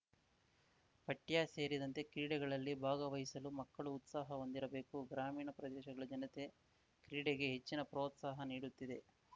ಪಠ್ಯ ಸೇರಿದಂತೆ ಕ್ರೀಡೆಗಳಲ್ಲಿ ಭಾಗವಹಿಸಲು ಮಕ್ಕಳು ಉತ್ಸಾಹ ಹೊಂದಿರಬೇಕು ಗ್ರಾಮೀಣ ಪ್ರದೇಶಗಳ ಜನತೆ ಕ್ರೀಡೆಗೆ ಹೆಚ್ಚಿನ ಪ್ರೋತ್ಸಾಹ ನೀಡುತ್ತಿದೆ